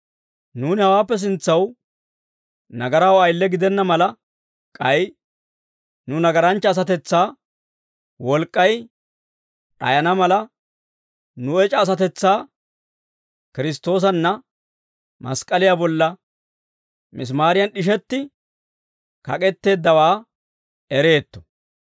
Nuuni hawaappe sintsaw nagaraw ayile gidenna mala, k'ay nu nagaranchcha asatetsaa wolk'k'ay d'ayana mala, nu ec'a asatetsaa Kiristtoosanna mask'k'aliyaa bolla misimaariyan d'ishetti kak'etteeddawaa ereetto.